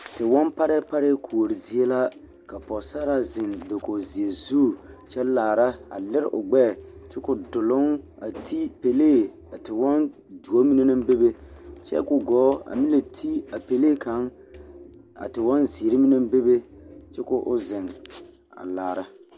Tewɔmparɛɛ parɛɛparɛɛ kuori zie la ka pɔɡesaraa zeŋ dakoɡizeɛ zu kyɛ laara a liri o ɡbɛɛ kyɛ ka o doloŋ a te pelee a tewɔŋtuo mine naŋ bebe kyɛ ka o ɡɔɔ meŋ la te a pelee a tewɔnziiri mine a laara.